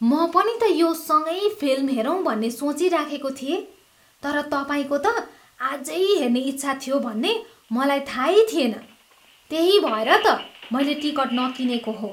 म पनि त यो सँगै फिल्म हेरौँ भन्ने सोचिराखेको थिएँ, तर तपाईँको त आजै हेर्ने इच्छा थियो भन्ने मलाई थाहै थिएन। त्यही भएर त मैले टिकट नकिनेको हो।